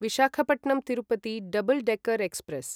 Visakhapatnam Tirupati double decker express